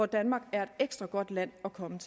danmark er et ekstra godt land at komme